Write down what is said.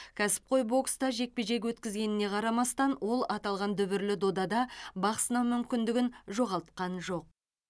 кәсіпқой бокста жекпе жек өткізгеніне қарамастан ол аталған дүбірлі додада бақ сынау мүмкіндігін жоғалтқан жоқ